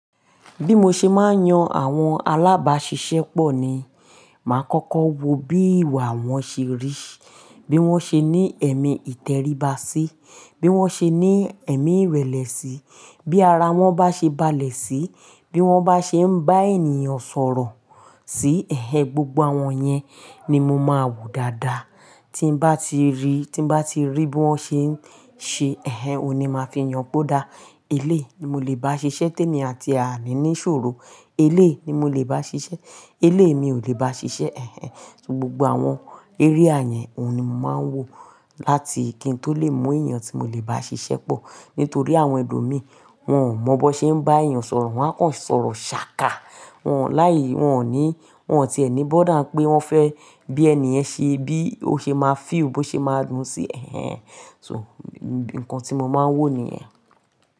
Bí mo ṣe máa ń yan àwọn alábáṣiṣẹ́pọ̀ ni, màá kọ́kọ́ wo bí ìwà wọn ṣe rí, bí wọ́n ṣe ní ẹ̀mí ìtẹríba sí, bí wọ́n ṣe ní ẹ̀mí ìrẹ̀lẹ̀ sí, bí ara wọn bá ṣe balẹ̀ sí, bí wọ́n bá ṣe ń bá ènìyàn sọ̀rọ̀ sí. Ẹ̀hẹn, gbogbo àwọn yẹn ni mo máa wò dáadáa. Tí n bá ti rí, tí n bá ti rí bí wọ́n ṣe ń ṣe, ẹ̀hẹn, òun ni màá fi yàn póda. Eléyìí ni mo lè bá ṣiṣẹ́, témi àti ẹ̀ àní ní ìṣòro, eléyìí ni mo lè bá ṣiṣẹ́, eléyìí mi ò lè bá ṣiṣẹ́, ẹ̀hẹn. So gbogbo àwọn area yẹn òun ni mò máa ń wo láti kí n tó lè mọ ènìyàn tí mo lè bá ṣiṣẹ́ pọ̀. Nítorí àwọn ẹlòmíì wọn ò mọ bó ṣe ń bá ènìyàn sọ̀rọ̀, wọ́n a kàn sọ̀rọ̀ ṣàkà. Wọn láì, wọn ò ní, wọn ò ti ẹni bó dáń pé wọ́n fẹ́ bí ènìyàn ṣe, bí ó ṣe máa feel, bó ṣe máa dùn sí, ẹ̀hẹn. So nǹkan tí mo máa ń wò nìyẹn.